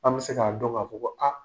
An bɛ se k'a dɔn k'a fɔ ko aa.